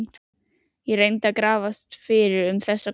Ég reyndi að grafast fyrir um þessa konu.